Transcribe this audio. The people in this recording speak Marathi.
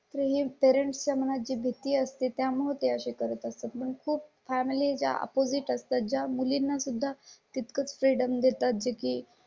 . तुम्ही दहा च्या मनात जी भीती असते त्यामुळे ते असे करत असतात. पण खूप फॅमिली च्या अपोजिट असतात. ज्या मुलींना सुद्धा तितकंच फ्रीडम देतात जे की